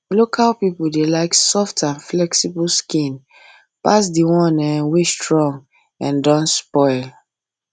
local people dey like soft and flexible skin pass the one wey um strong and don um spoil um